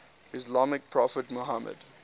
islamic prophet muhammad